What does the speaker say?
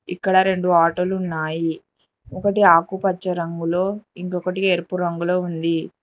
ఇక్కడ రెండు ఆటోలున్నాయి ఒకటి ఆకుపచ్చ రంగులో ఇంకొకటి ఎరుపు రంగులో ఉంది.